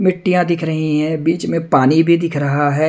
मिट्टियां दिख रही हैं बीच में पानी भी दिख रहा है।